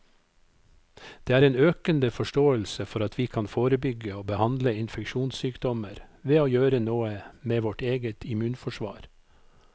Det er en økende forståelse for at vi kan forebygge og behandle infeksjonssykdommer ved å gjøre noe med vårt eget immunforsvar.